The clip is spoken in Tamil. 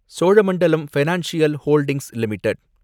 Cholamandalam financial holdings limited